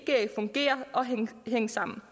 fungere og hænge sammen